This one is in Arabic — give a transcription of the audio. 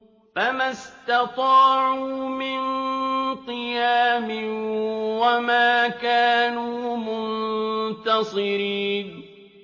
فَمَا اسْتَطَاعُوا مِن قِيَامٍ وَمَا كَانُوا مُنتَصِرِينَ